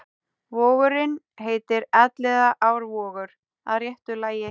Vogurinn heitir Elliðaárvogur að réttu lagi.